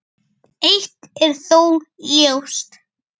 Eitt er þó ljóst.